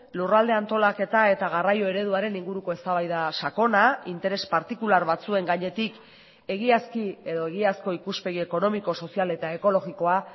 lurralde antolaketa eta garraio ereduaren inguruko eztabaida sakona interes partikular batzuen gainetik egiazki edo egiazko ikuspegi ekonomiko sozial eta ekologikoa